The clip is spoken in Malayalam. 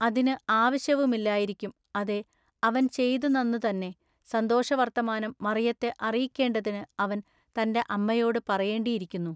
അതിനു ആവശ്യവുമില്ലായിരിക്കും അതെ, അവൻ ചെയ്തുനന്നു തന്നെ ൟ സന്തോഷവൎത്തമാനം മറിയത്തെ അറിയിക്കെണ്ടതിനു അവൻ തന്റെ അമ്മയോടു പറയേണ്ടിയിരിക്കുന്നു.